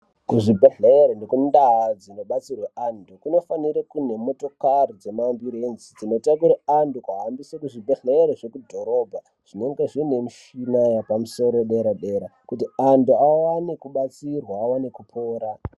Kuzvibhedhlere nekundaa dzinobatsirwe anthu kunofanira kune motokari dzemambulenzi dzinotakure anthu kuaendese kuzvibhedhlere zvekudhorobha zvinenge zvine mishina yepamusoro dera-dera kuti anthu awone kubatsirwa awone kupora.